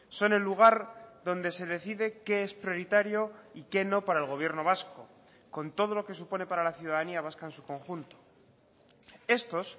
son el lugar donde se decide qué es prioritario y qué no para el gobierno vasco con todo lo que supone para la ciudadanía vasca en su conjunto estos